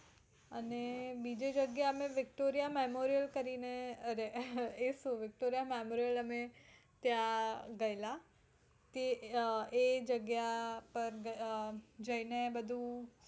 અને બીજી જગ્યા અમે victoriya memorial કરીને અરે એ જ તો અમે ત્યાં ગયેલા તે એ જગ્યા પાર અમ જઈને બધું